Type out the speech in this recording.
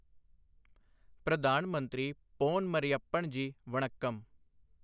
ਪ੍ਰਧਾਨ ਮੰਤਰੀ ਪੋਨ ਮਰਿਯੱਪਨ ਜੀ, ਵਣੱਕਮ।